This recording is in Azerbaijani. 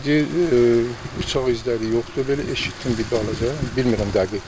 Ancaq deyir bıçaq izləri yoxdur, belə eşitdim bir az da, bilmirəm dəqiq.